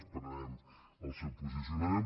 esperarem el seu posicionament